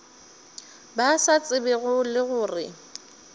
ba sa tsebego le gore